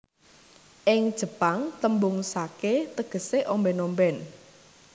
Ing Jepang tembung sake tegese omben omben